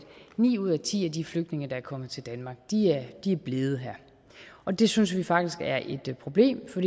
ni ud af ti af de flygtninge der er kommet til danmark er blevet her og det synes vi faktisk er et problem for